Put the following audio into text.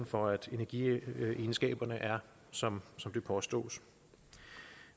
for at energiegenskaberne er som det påstås